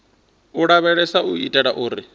u lavheleswa u itela uri